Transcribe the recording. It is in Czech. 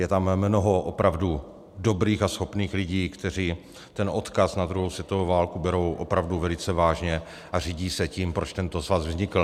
Je tam mnoho opravdu dobrých a schopných lidí, kteří ten odkaz na druhou světovou válku berou opravdu velice vážně a řídí se tím, proč tento svaz vznikl.